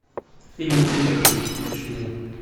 фильм уцелевший включи мне